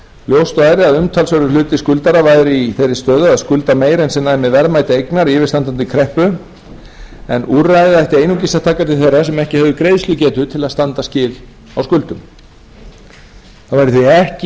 ljóst væri að umtalsverður hluti skuldara væri í þeirri stöðu að skulda meira en sem næmi verðmæti eignar í yfirstandandi kreppu en úrræðið ætti einungis að taka til þeirra sem ekki hefðu greiðslugetu til að standa skil á á skuldum það væri því